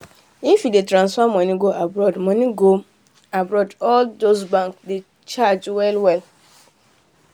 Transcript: if you dey transfer money go abroad money go abroad all these bank dey charge well well